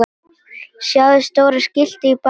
Sjáið stóra skiltið í baksýn.